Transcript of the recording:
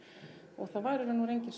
og það var í raun og veru enginn